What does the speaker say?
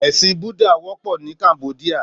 Èsín bùdá wòpò ni Kámbòdiá